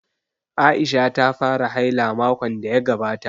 Aisha ta fara haila makon da ya gabata